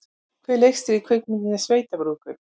Hver leikstýrði kvikmyndinni Sveitabrúðkaup?